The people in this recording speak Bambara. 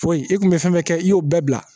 Foyi i kun be fɛn bɛɛ kɛ i y'o bɛɛ bila